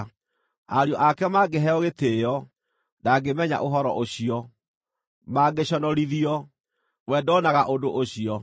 Ariũ ake mangĩheo gĩtĩĩo, ndangĩmenya ũhoro ũcio; mangĩconorithio, we ndoonaga ũndũ ũcio.